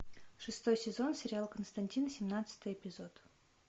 шестой сезон сериал константин семнадцатый жпизод